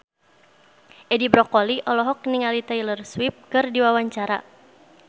Edi Brokoli olohok ningali Taylor Swift keur diwawancara